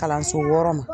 Kalanso wɔɔrɔ ma